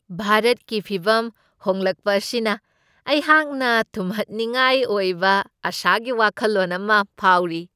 ꯚꯥꯔꯠꯀꯤ ꯐꯤꯚꯝ ꯍꯣꯡꯂꯛꯄ ꯑꯁꯤꯅ ꯑꯩꯍꯥꯛꯅ ꯊꯨꯝꯍꯠꯅꯤꯡꯉꯥꯏ ꯑꯣꯏꯕ ꯑꯥꯁꯥꯒꯤ ꯋꯥꯈꯜꯂꯣꯟ ꯑꯃ ꯐꯥꯎꯔꯤ꯫